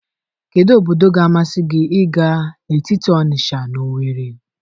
Kedu obodo ga-amasị gị ịga n'etiti Onisha na Owere?